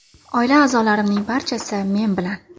Oila a’zolarimning barchasi men bilan.